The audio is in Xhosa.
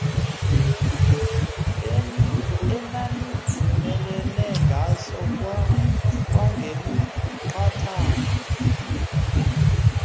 enanivumelene ngaso kwangemiqathango